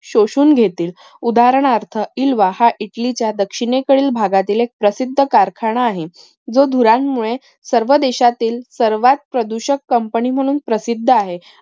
शोषून घेतील उदाहरणार्थ पिलवा हा इटलीचा दक्षिणेकडील भागातील एक प्रसिद्ध कारखाना आहे. जो धुरांमुळे सर्व देशातील सर्वात प्रदूषक company म्हणून प्रसिद्ध आहे.